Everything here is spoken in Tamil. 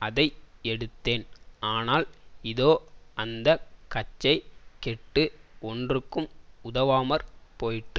அதை எடுத்தேன் ஆனால் இதோ அந்த கச்சை கெட்டு ஒன்றுக்கும் உதவாமற் போயிற்று